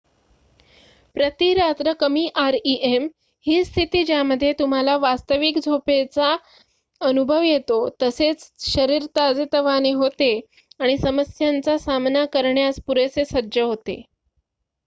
प्रती रात्र कमी आरइएम ही स्थिती ज्यामध्ये तुम्हाला वास्तविक झोपेचा अनुभव येतो तसेच शरीर ताजेतवाने होते आणि समस्यांचा सामना करण्यास पुरेशे सज्ज होते